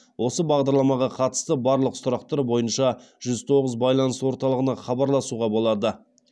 осы бағдарламаға қатысты барлық сұрақтар бойынша жүз тоғыз байланыс орталығына хабарласуға болады